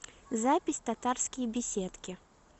запись татарские беседки